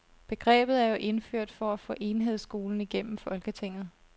Begrebet er jo indført for at få enhedsskolen igennem folketinget.